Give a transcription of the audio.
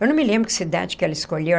Eu não me lembro que cidade que ela escolheu.